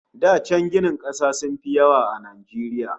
Da can ginin kasa sun fi yawa a Najeriya